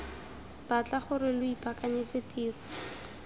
batla gore lo ipaakanyetse tiro